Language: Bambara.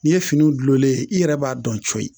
N'i ye fini gulonlen ye i yɛrɛ b'a dɔn coyi